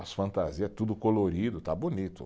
As fantasia, tudo colorido, está bonito.